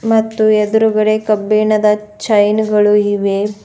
ಮತ್ತು ಎದ್ರುಗಡೆ ಕಬ್ಬಿಣದ ಚೈನ್ ಗಳು ಇವೆ.